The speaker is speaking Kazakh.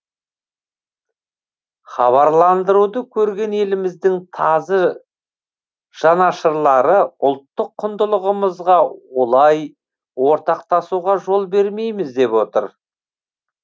хабарландыруды көрген еліміздің тазы жанашырлары ұлттық құндылығымызға олай ортақтасуға жол бермейміз деп отыр